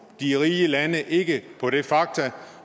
de rige lande ikke på det faktum